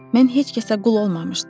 Mən heç kəsə qul olmamışdım.